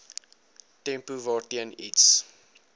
tempo waarteen iets